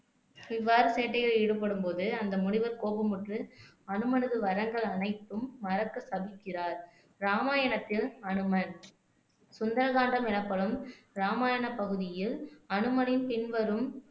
இவ்வாறு சேட்டைகளில் ஈடுபடும்போது அந்த முனிவர் கோபமுற்று அனுமனது வரங்கள் அனைத்தும் மறக்க சபிக்கிறார் ராமாயணத்தில் அனுமன் சுந்தரகாண்டம் எனப்படும் ராமாயணப் பகுதியில் அனுமனின் பின்வரும்